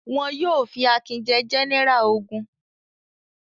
Wọn yóò fi Akin jẹ gẹ́nẹrà ogun.